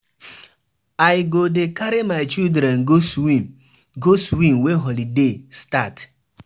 I go dey carry my children go swim go swim wen holiday start.